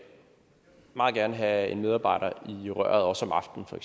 meget gerne have en medarbejder i røret også om aftenen for